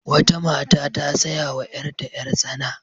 Wata mata ta saya wa yarta yar-tsana.